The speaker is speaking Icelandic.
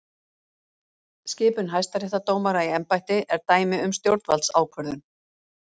Skipun hæstaréttardómara í embætti er dæmi um stjórnvaldsákvörðun.